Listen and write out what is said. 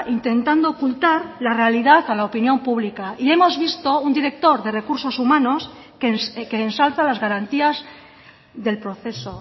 intentando ocultar la realidad a la opinión pública y hemos visto un director de recursos humanos que ensalza las garantías del proceso